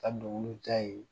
Ka dɔnkiliw da yen